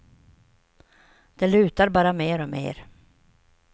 Det lutar bara mer och mer.